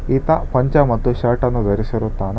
ಈತ ಪಂಚೆ ಮತ್ತು ಶರ್ಟ್ ಅನ್ನು ಧರಿಸಿರುತ್ತಾನೆ.